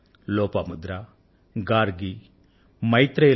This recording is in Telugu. లోపాముద్ర గార్గి మైత్రేయి